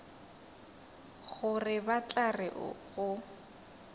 gore ba tla re go